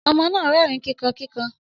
Ọmọ náà rẹrin kíkan kíkan.